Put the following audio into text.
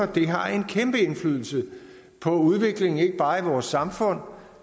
det har en kæmpe indflydelse på udviklingen i ikke bare vores samfund